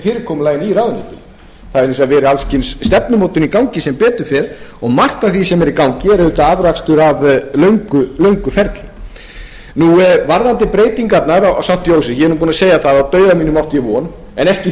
í ráðuneytinu að vísu hefur alls kyns stefnumótun í gangi sem betur fer og margt af því sem er í gangi er afrakstur af löngu ferli varðandi breytingarnar á st jósefsspítala ég er nú búinn að segja það að á dauða mínum átti von en ekki